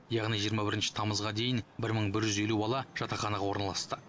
яғни жиырма бірінші тамызға дейін бір мың бір жүз елу бала жатақханаға орналасты